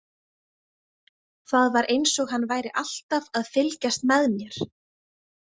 Það var eins og hann væri alltaf að fylgjast með mér.